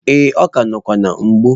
Ee, ọ ka nọkwa na-mgbu.